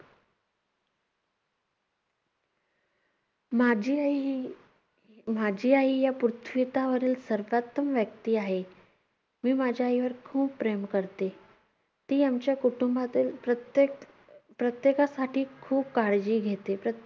माझी आई ही~ माझी आई या पृथ्वीतावरील सर्वोत्तम व्यक्ती आहे. मी माझ्या आईवर खूप प्रेम करते. ती आमच्या कुटुंबातील प्रत्येक~ प्रत्येकासाठी खूप काळजी घेते.